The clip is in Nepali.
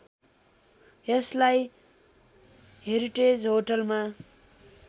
यसलाई हेरिटेज होटलमा